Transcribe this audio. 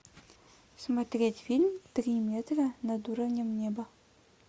смотреть фильм три метра над уровнем неба